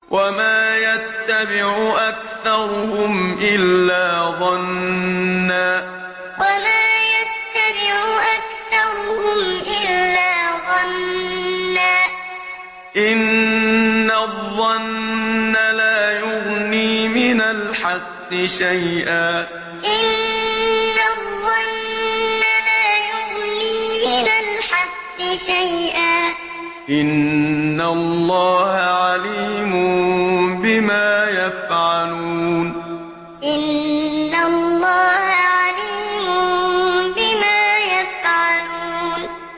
وَمَا يَتَّبِعُ أَكْثَرُهُمْ إِلَّا ظَنًّا ۚ إِنَّ الظَّنَّ لَا يُغْنِي مِنَ الْحَقِّ شَيْئًا ۚ إِنَّ اللَّهَ عَلِيمٌ بِمَا يَفْعَلُونَ وَمَا يَتَّبِعُ أَكْثَرُهُمْ إِلَّا ظَنًّا ۚ إِنَّ الظَّنَّ لَا يُغْنِي مِنَ الْحَقِّ شَيْئًا ۚ إِنَّ اللَّهَ عَلِيمٌ بِمَا يَفْعَلُونَ